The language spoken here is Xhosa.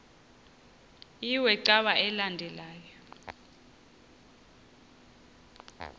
iwe cawa elandela